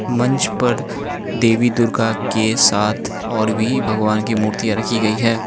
मंच पर देवी दुर्गा के साथ और भी भगवान की मूर्तियां रखी गई है।